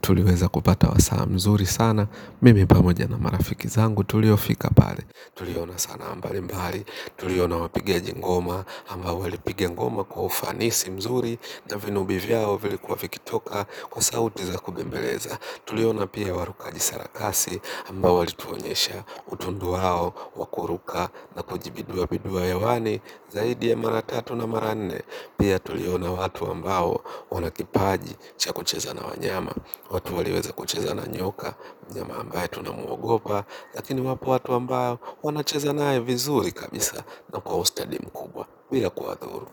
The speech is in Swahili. Tuliweza kupata wasaha mzuri sana. Mimi pamoja na marafiki zangu tuliofika pale. Tuliona sana mbali mbali. Tuliona wapigaji ngoma ambayo walipiga ngoma kwa ufanisi mzuri. Na vinobi vyao vilikuwa vikitoka kwa sauti za kubembeleza. Tuliona pia warukaji sarakasi ambayo walituonyesha utundu wao, wa kuruka na kujibidua bidua hewani. Zaidi ya mara tatu na mara nne pia tuliona watu ambao wanakipaji cha kucheza na wanyama, watu walioweza kucheza na nyoka, mnyama ambaye tunamuogopa lakini wapo watu ambao wanacheza naye vizuri kabisa na kwa ustadi mkubwa bila kuwathuru.